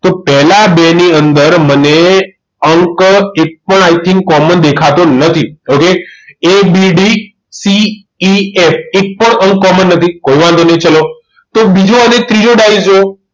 તો પહેલા બે ની અંદર મને અંક એક પણ i think common દેખાતો નથી હવે ABDCEF એક પણ અંક common નથી કાંઈ વાંધો નહીં ચલો તો બીજો અને ત્રીજો ડાયસ જોયો